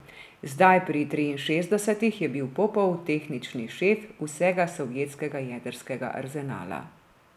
Zdaj, pri triinšestdesetih, je bil Popov tehnični šef vsega sovjetskega jedrskega arzenala.